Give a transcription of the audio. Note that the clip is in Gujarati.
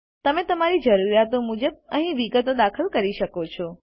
તમે તમારી જરૂરીયાતો મુજબ અહીં વિગતો દાખલ કરી શકો છો